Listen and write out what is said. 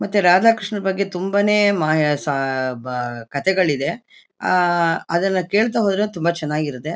ಮತ್ತೆ ರಾಧಾ ಕೃಷ್ಣ ಬಗ್ಗೆ ತುಂಬಾ ನೇ ಮ ಸ ಬಾ ಕಥೆಗಳಿದೆ. ಆ ಅದನ್ನ ಕೇಳ್ತಾ ಹೋದ್ರೆ ತುಂಬಾ ಚನಾಗಿರತ್ತೆ.